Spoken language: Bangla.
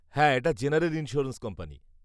-হ্যাঁ এটা জেনারেল ইন্স্যুরেন্স কোম্পানি।